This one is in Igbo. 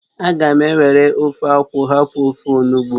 Aga m ewere ofe akwụ hapụ ofe onugbụ